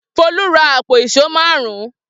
Folú ra àpò ìṣó márùn-ún.